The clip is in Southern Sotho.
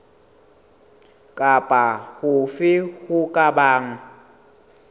kapa hofe ho ka bang